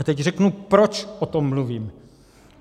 A teď řeknu, proč o tom mluvím.